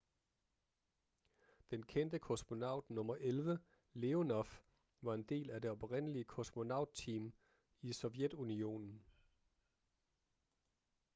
den kendte kosmonaut nr 11 leonov var en del af det oprindelige kosmonaut-team i sovjetunionen